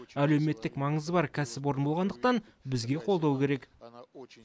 әлеуметтік маңызы бар кәсіпорын болғандықтан бізге қолдау керек